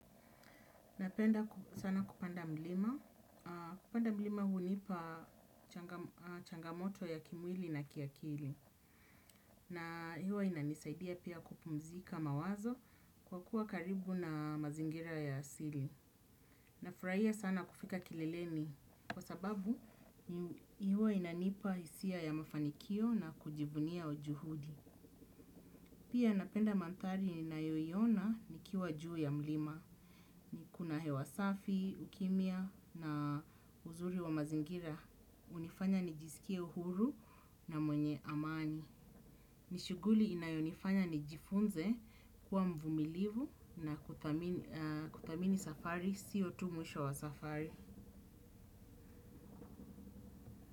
Napenda sana kupanda mlima. Kupanda mlima hunipa changamoto ya kimwili na kiakili. Na hewa inanisaidia pia kupumzika mawazo kwa kuwa karibu na mazingira ya asili. Na furahia sana kufika kilileni kwa sababu huwa inanipa hisia ya mafanikio na kujifunia ujuhudi. Pia napenda mandhari ninayoiona nikiwa juu ya mlima. Kuna hewa safi, ukimia na uzuri wa mazingira. Unifanya nijisikie uhuru na mwenye amani. Nishughuli inayonifanya nijifunze kuwa mvumilivu na kuthamini safari, siyo tu mwisho wa safari.